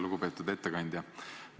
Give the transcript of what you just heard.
Lugupeetud ettekandja!